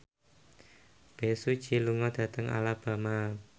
Bae Su Ji lunga dhateng Alabama